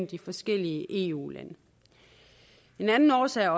de forskellige eu lande en anden årsag er